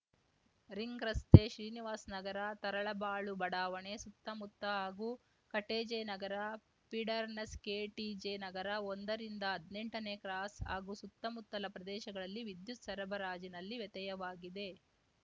ring ರಸ್ತೆ ಶ್ರೀನಿವಾಸ್ ನಗರ ತರಳಬಾಳು ಬಡಾವಣೆ ಸುತ್ತಮುತ್ತ ಹಾಗೂ ಕಟಿಜೆ ನಗರ ಪೀಡರ್‌ನ ಸ್ಕೆಟಿಜೆ ನಗರ ಒಂದರಿಂದ ಹದ್ನೆಂಟನೇ ಕ್ರಾಸ್‌ ಹಾಗೂ ಸುತ್ತಮುತ್ತಲ ಪ್ರದೇಶಗಳಲ್ಲಿ ವಿದ್ಯುತ್‌ ಸರಬರಾಜಿನಲ್ಲಿ ವ್ಯತಯವಾಗಲಿದೆ